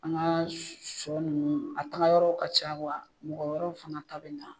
An ka shɔ nunnu a taga yɔrɔw ka ca wa mɔgɔ wɛrɛw fana ta bɛ na.